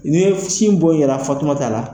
Ni ye sin bon yera Fatumata la,